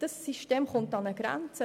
Das System kommt an seine Grenzen.